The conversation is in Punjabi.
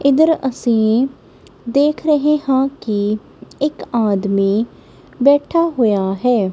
ਇਧਰ ਅਸੀਂ ਦੇਖ ਰਹੇ ਹਾਂ ਕਿ ਇੱਕ ਆਦਮੀ ਬੈਠਾ ਹੋਇਆ ਹੈ।